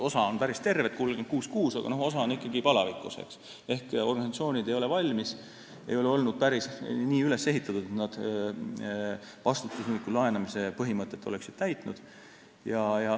Osa on päris terved, 36,6, aga osa on ikkagi palavikus ehk organisatsioonid ei ole veel valmis, sest nad ei ole olnud päris nii üles ehitatud, et oleksid täitnud vastutustundliku laenamise põhimõtteid.